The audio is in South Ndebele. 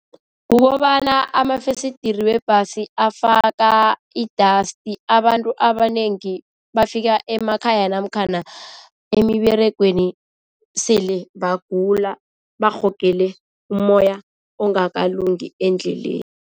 Kukobana amafesidiri webhasi afaka i-dust abantu abanengi bafika emakhaya namkhana emiberegweni sele bagula barhogele umoya ongakalungi endleleni.